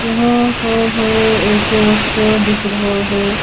यहाँ पर है एक शिहा दीख रहा हैं।